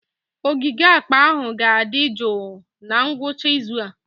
Ogige akpa ahụ ga-adị jụụ na ngwụcha izu a.